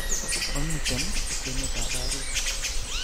Omiten kwene'tab barit